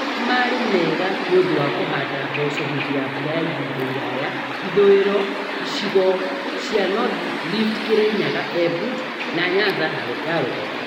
Maũndũ marĩ mega nĩũndũ wa kũhanda mboco hĩndĩ ya mbura ya ihinda iraya ithũũiro, icigo cia North Rift Kirinyaga, Embu, na Nyanza ya rũgongo